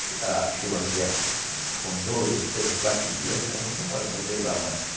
Já a chuva, com dois ou três ou quatro dias, ela não demora para grelar mais.